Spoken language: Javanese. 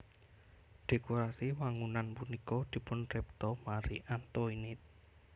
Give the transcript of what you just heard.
Dhékorasi wangunan punika dipunripta Marie Antoinette